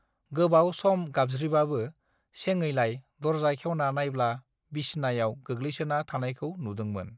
गोबाव सम गाबज्रिबाबो सेङैलाय दरजा खेवना नायब्ला बिसनायाव गोग्लैसोना थानायखौ नुदोंमोन